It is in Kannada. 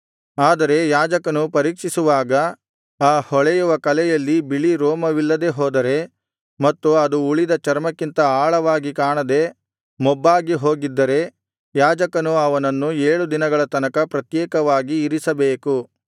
ಆದರೆ ಯಾಜಕನು ಪರೀಕ್ಷಿಸುವಾಗ ಆ ಹೊಳೆಯುವ ಕಲೆಯಲ್ಲಿ ಬಿಳಿ ರೋಮವಿಲ್ಲದೆ ಹೋದರೆ ಮತ್ತು ಅದು ಉಳಿದ ಚರ್ಮಕ್ಕಿಂತ ಆಳವಾಗಿ ಕಾಣದೆ ಮೊಬ್ಬಾಗಿ ಹೋಗಿದ್ದರೆ ಯಾಜಕನು ಅವನನ್ನು ಏಳು ದಿನಗಳ ತನಕ ಪ್ರತ್ಯೇಕವಾಗಿ ಇರಿಸಬೇಕು